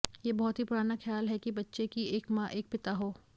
ये बहुत ही पुराना ख़्याल है कि बच्चे की एक मां एक पिता हो